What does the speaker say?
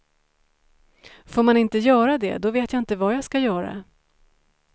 Får man inte göra det då vet jag inte vad jag ska göra.